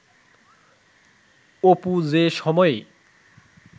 অপু যে সময়ে